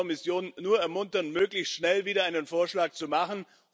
Ich kann die Kommission nur ermuntern, möglichst schnell wieder einen Vorschlag zu machen.